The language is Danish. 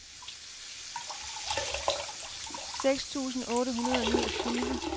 seks tusind otte hundrede og niogtyve